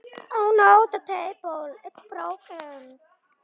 Líka erfiðu tímana.